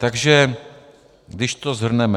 Takže když to shrneme.